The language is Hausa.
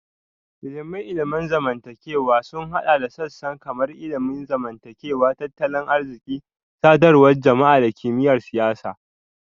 Ilimin ilimin zamantakewa sun haɗa da sassan kamar ilimin zamantakewa, tattalin arziki, sadarwar jama'a da kimiyyar siyasa